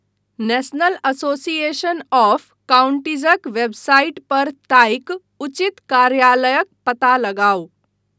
National association of काउंटीजक website पर ताकि उचित कार्यालयक पता लगाउ।